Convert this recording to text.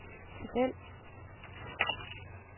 tabel